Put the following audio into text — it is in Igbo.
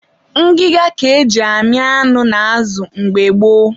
ngịga ka e ji amị anụ na azụ mgbe gboo.